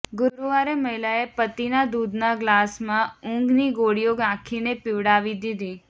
ગુરુવારે મહિલાએ પતિના દૂધના ગ્લાસમાં ઊંઘની ગોળીઓ નાખીને પીવડાવી દીધી